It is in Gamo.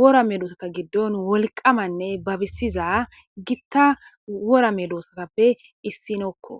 worame doosata giddon wolqamanne babisiza gitta worame doossatappe issinokko